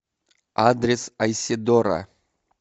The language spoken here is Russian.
адрес айседора